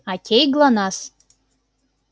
окей глонассс